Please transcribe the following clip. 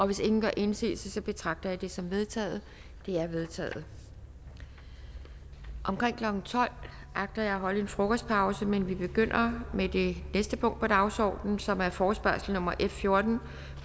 hvis ingen gør indsigelse betragter jeg det som vedtaget det er vedtaget omkring klokken tolv agter jeg at holde en frokostpause men vi begynder med det næste punkt på dagsordenen som er forespørgsel nummer f fjortende